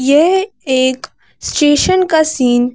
ये एक स्टेशन का सीन --